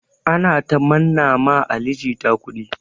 Ana ta manna ma Ali jita kudi.